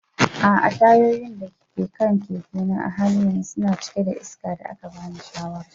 A'a, tayoyin da ke kan keke na a halin yanzu suna cike da iskar da aka bani shawara.